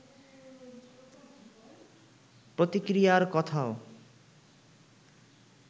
প্রতিক্রিয়ার কথাও